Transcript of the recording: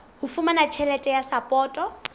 ho fumana tjhelete ya sapoto